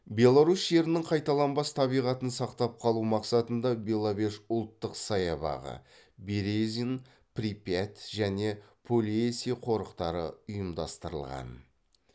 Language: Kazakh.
беларусь жерінің қайталанбас табиғатын сақтап қалу мақсатында беловеж ұлттық саябағы березин припять және полесье қорықтары ұйымдастырылған